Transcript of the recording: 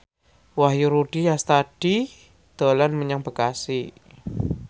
Wahyu Rudi Astadi dolan menyang Bekasi